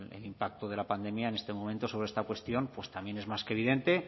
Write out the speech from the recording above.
el impacto de la pandemia en este momento sobre esta cuestión pues también es más que evidente